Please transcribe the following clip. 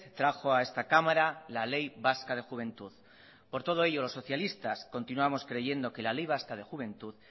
trajo a esta cámara la ley vasca de juventud por todo ello los socialistas continuamos creyendo que la ley vasca de juventud